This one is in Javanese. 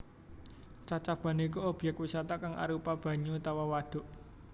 Cacaban iku obyek wisata kang arupa banyu utawa wadhuk